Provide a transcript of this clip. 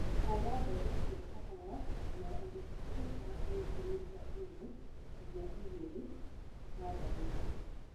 Hura mbegũ cia kahũa na ũriku wa sentimita ĩmwe nginya igĩrĩ natharĩiinĩ